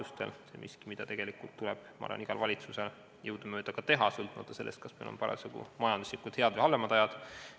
See on miski, mida minu arvates tuleb tegelikult igal valitsusel jõudumööda teha, sõltumata sellest, kas meil on parasjagu majanduslikult paremad või halvemad ajad.